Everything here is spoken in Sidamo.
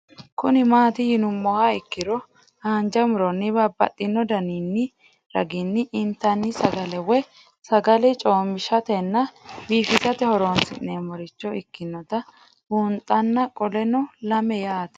Kuni mati yinumoha ikiro hanja muroni babaxino daninina ragini intani sagale woyi sagali comishatenna bifisate horonsine'morich ikinota bunxana qoleno lame yaate